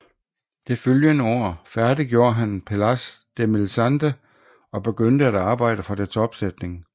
Det følgende år færdiggjorde han Pelléas et Mélisande og begyndte at arbejde for dets opsætning